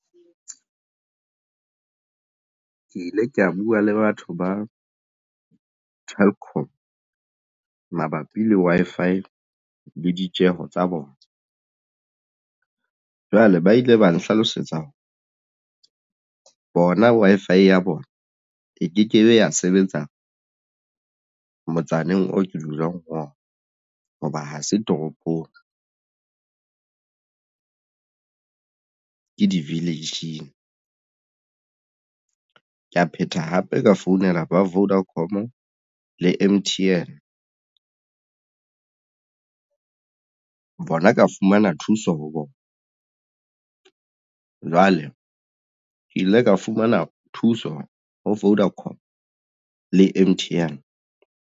Ke ile ka bua le batho ba Telkom mabapi le Wi-Fi le ditjeho tsa bona. Jwale ba ile ba nhlalosetsa hore bona Wi-Fi ya bona e ke kebe ya sebetsa motsaneng oo ke dulang ho ona hoba ha se toropong ke di-village-ing. Ke ya phetha hape ka founela ba Vodacom le M_T_N bona ka fumana thuso ho bona jwale ke ile ka fumana thuso ho Vodacom le M_T_N.